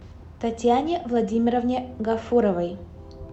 татьяне владимировне гафуровой